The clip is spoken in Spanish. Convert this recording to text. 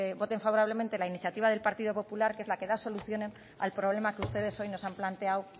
voten favorablemente la iniciativa del partido popular que es la que da solución al problema que ustedes hoy nos han planteado